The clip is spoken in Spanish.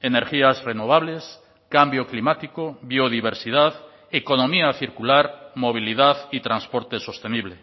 energías renovables cambio climático biodiversidad economía circular movilidad y transporte sostenible